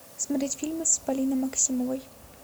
смотреть фильмы с полиной максимовой